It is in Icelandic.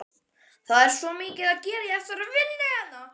Það er svo mikið að gera í þessari vinnu hennar.